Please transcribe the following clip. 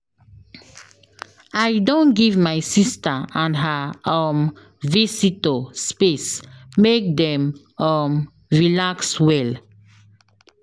I don give my sista and her um visitor space make dem um relax well.